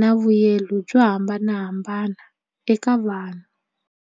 na vuyelo byo hambanahambana eka vanhu.